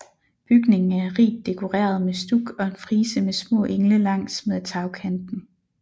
Bygningen er rigt dekoreret med stuk og en frise med små engle langs med tagkanten